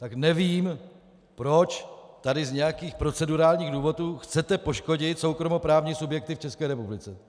Tak nevím, proč tady z nějakým procedurálních důvodů chcete poškodit soukromoprávní subjekty v České republice.